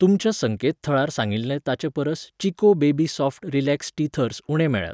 तुमच्या संकेतथळार सांगिल्ले ताचेपरस Chicco baby soft relax teethers उणे मेळ्ळ्यात.